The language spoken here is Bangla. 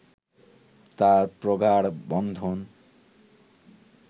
তাঁর প্রগাঢ় বন্ধন